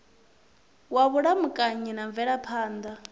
wa vhulamukanyi na mvelaphan ḓa